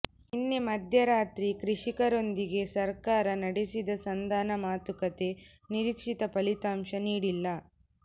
ನಿನ್ನೆ ಮಧ್ಯರಾತ್ರಿ ಕೃಷಿಕರೊಂದಿಗೆ ಸರ್ಕಾರ ನಡೆಸಿದ ಸಂಧಾನ ಮಾತುಕತೆ ನಿರೀಕ್ಷಿತ ಫಲಿತಾಂಶ ನೀಡಿಲ್ಲ